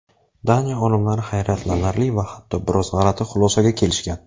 Daniya olimlari hayratlanarli va hatto biroz g‘alati xulosaga kelishgan.